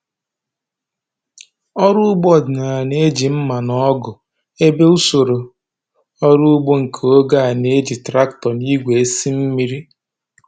Ọrụ ugbo ọdịnala na-eji mma na ọgụ, ebe usoro ọrụ ugbo nke oge a na-eji traktọ na igwe esi mmiri.